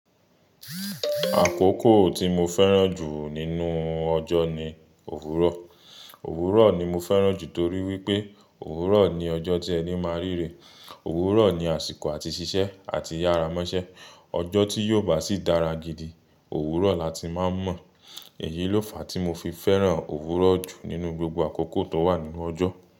Àkókò tí mo fẹ́ràn jù nínú ọjọ́ ni òwúrọ̀. Òwúrọ̀ ni mo fẹ́ràn jù torí wípé òwúrọ̀ ni ọjọ́ tí ẹni máa ń ríre, òwúrọ̀ ni àsìkò àti ṣiṣẹ́ àti yára mọ́ṣẹ́. Ọjọ́ tí yóò bá sì dára gidi, òwúrọ̀ la ti máa ń mọ̀. Èyí ló fàá tí mo fi fẹ́ràn òwúrọ̀ jù nínú gbogbo àkókò tó wà nínú ọjọ́.